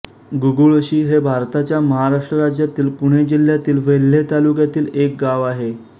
गुगुळशी हे भारताच्या महाराष्ट्र राज्यातील पुणे जिल्ह्यातील वेल्हे तालुक्यातील एक गाव आहे